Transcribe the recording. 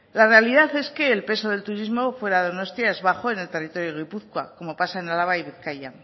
la realidad es que el peso del turismo fuera de donostia es bajo en el territorio de gipuzkoa como pasa en álava y en bizkaia